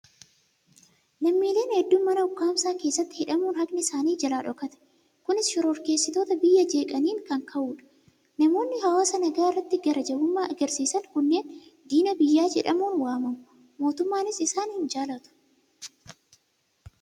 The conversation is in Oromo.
Lammiileen hedduun mana ukkaamsaa keessatti hidhamuun haqni isaanii jalaa dhokate! Kunis shororkeessitoota biyya jeeqaniin kan ta'udha. Namoonni hawaasa nagaa irratti garaa jabummaa argisiisan kunneen diina biyyaa jedhamuun waamamu. Mootummaanis isaan hin jaalatu!